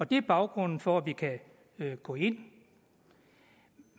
det er baggrunden for at vi kan gå ind det